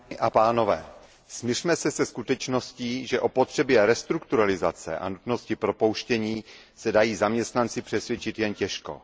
Vážený pane předsedající, smiřme se se skutečností, že o potřebě restrukturalizace a nutnosti propouštění se dají zaměstnanci přesvědčit jen těžko.